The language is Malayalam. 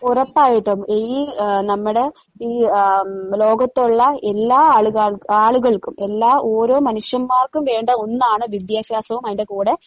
ഒറപ്പായിട്ടും ഈ ഏഹ് നമ്മടെ ഈ ആഹ് ലോകത്തൊള്ള എല്ലാ ആള് കാർക്കും ആള് കൾക്കും എല്ലാ ഓരോ മനുഷ്യന്മാർക്കും വേണ്ട ഒന്നാണ് വിദ്യാഫ്യാസവും അതിൻ്റെ കൂടെ